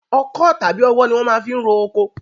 Ọkọ́ tàbí ọwọ́ ni wọ́n máa fi ń roko.